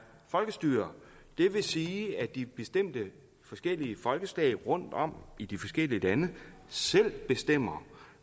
folkestyre det vil sige at de bestemte forskellige folkeslag rundtom i de forskellige lande selv bestemmer